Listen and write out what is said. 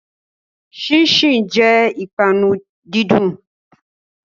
Ṣínṣìn jẹ́ ìpanu dídùn.